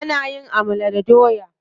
Ana yin amala da doya.